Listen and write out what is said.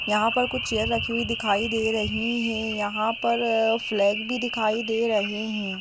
यहां पर कुछ चेयर रखी हुई दिखाई दे रही हैं । यहां पर फ्लैग भी दिखाई दे रहे हैं।